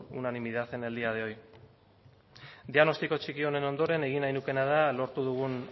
unanimidad en el día de hoy diagnostiko txiki honen ondoren egin nahi nukeena da lortu dugun